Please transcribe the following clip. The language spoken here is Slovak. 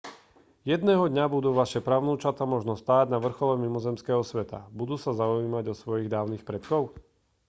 jedného dňa budú vaše pravnúčatá možno stáť na vrchole mimozemského sveta budú sa zaujímať o svojich dávnych predkov